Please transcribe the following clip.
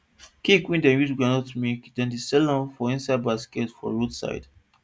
cake wey dem use groundnut make dem dey sell am for inside baskets for road side